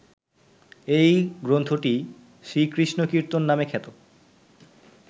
এই গ্রন্থটিই শ্রীকৃষ্ণকীর্তন নামে খ্যাত